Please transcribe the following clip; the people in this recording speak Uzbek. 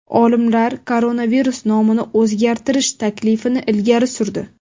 Olimlar koronavirus nomini o‘zgartirish taklifini ilgari surdi.